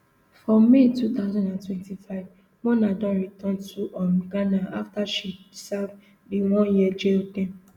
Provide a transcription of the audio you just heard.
for may two thousand and twenty-five mona don return to um ghana afta she serve di oneyear jail term